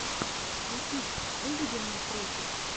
ютуб выведи мне треки